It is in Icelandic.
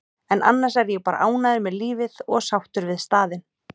en annars er ég bara ánægður með lífið og sáttur við staðinn.